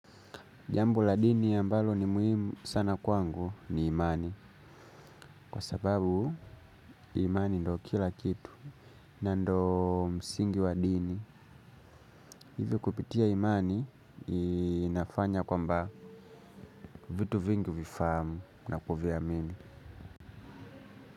Jambo la dini ambalo ni muhimu sana kwangu ni imani. Kwa sababu imani ndiyo kila kitu. Na ndiyo msingi wa dini. Hivyo kupitia imani inafanya kwamba vitu vingu vifahamu na kuviamini.